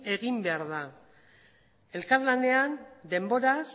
egin behar da elkarlanean eta denboraz